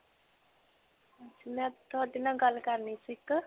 ਮੈਂ ਤੁਹਾਡੇ ਨਾਲ ਗੱਲ ਕਰਨੀ ਸੀ ਇੱਕ.